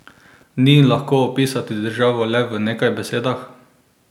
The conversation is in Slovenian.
Ni lahko opisati državo le v nekaj besedah?